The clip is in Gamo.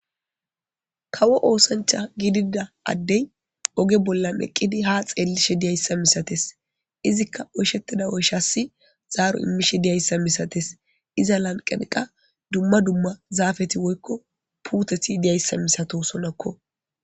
Kawo oosancha gidida addey oge bollan eqqidi ha xeellishe diyayssa misates izikka oyshettida oyshassi zaaro immishe diyayssa misates iza lanqaniqa dumma dumma zaafeti woykko puuteti diyayssa misato sonakko.